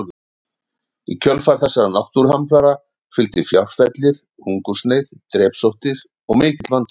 Í kjölfar þessara náttúruhamfara fylgdi fjárfellir, hungursneyð, drepsóttir og mikill manndauði.